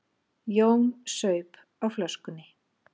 Jón saup á flöskunni.